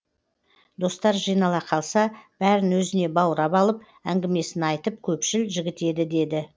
достар жинала қалса бәрін өзіне баурап алып әңгімесін айтып көпшіл жігіт еді де